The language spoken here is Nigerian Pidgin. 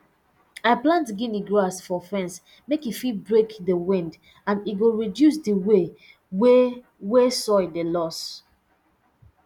i plant gini grass for fence make e fit break di wind and e go reduce di way way wey soil dey loss